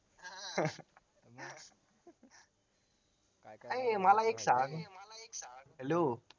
आणि मला एक सांग hello